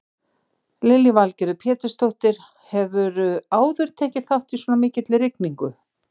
Lillý Valgerður Pétursdóttir: Hefurðu áður tekið þátt í svona mikilli rigningu?